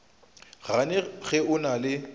gane ge o na le